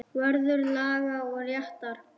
Vörður laga og réttar.